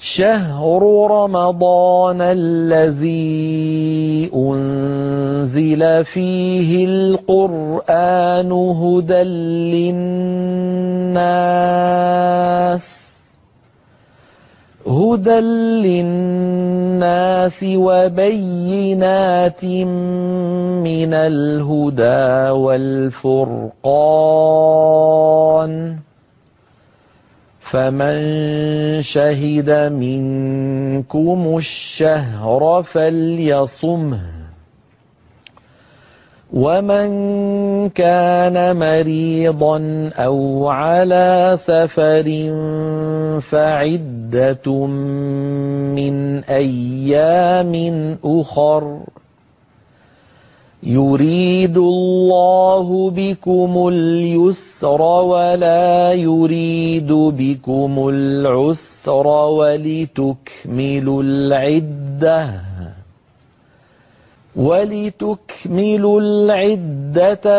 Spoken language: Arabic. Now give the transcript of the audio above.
شَهْرُ رَمَضَانَ الَّذِي أُنزِلَ فِيهِ الْقُرْآنُ هُدًى لِّلنَّاسِ وَبَيِّنَاتٍ مِّنَ الْهُدَىٰ وَالْفُرْقَانِ ۚ فَمَن شَهِدَ مِنكُمُ الشَّهْرَ فَلْيَصُمْهُ ۖ وَمَن كَانَ مَرِيضًا أَوْ عَلَىٰ سَفَرٍ فَعِدَّةٌ مِّنْ أَيَّامٍ أُخَرَ ۗ يُرِيدُ اللَّهُ بِكُمُ الْيُسْرَ وَلَا يُرِيدُ بِكُمُ الْعُسْرَ وَلِتُكْمِلُوا الْعِدَّةَ